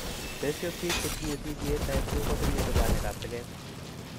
Besio, biik chetinye CDA type II kotinye lubanikab teket.